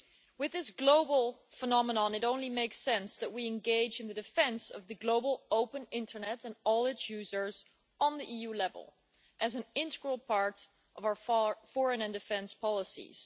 With this global phenomenon, it only makes sense that we engage in the defence of the global open internet and all its users at EU level, as an integral part of our foreign and defence policies.